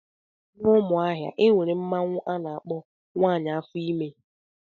N' Umuahia enwere mmanwụ ana akpọ " nwaanyị afo ime"